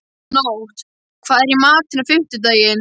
Nótt, hvað er í matinn á fimmtudaginn?